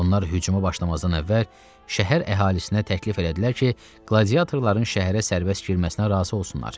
Onlar hücuma başlamazdan əvvəl şəhər əhalisinə təklif elədilər ki, qladiyatorların şəhərə sərbəst girməsinə razı olsunlar.